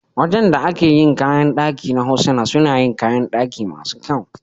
Wajan da ake yina kayan ɗaki na Hosana suna yin kayan ɗaki masu kyau.